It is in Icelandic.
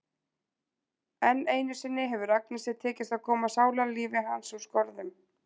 Enn einu sinni hefur Agnesi tekist að koma sálarlífi hans úr skorðum.